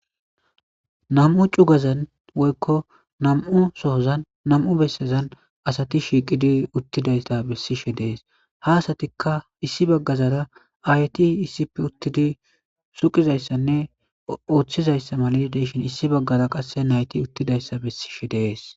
Nam"u cugazan woyikko nam"u bessazan asat shiqidi utidayssa besishshe des ha asatikka Issi baggara ayeti issippe utidi suqizayssanne oththishe dizayissa qase nayt utidayissa besses